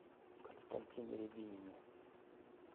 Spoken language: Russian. константине рябинине